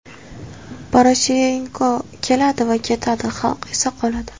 Poroshenko keladi va ketadi, xalq esa qoladi.